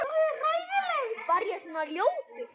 Var ég svona ljótur?